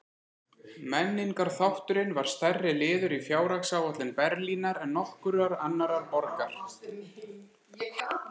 Menningarþátturinn var stærri liður í fjárhagsáætlun Berlínar en nokkurrar annarrar borgar.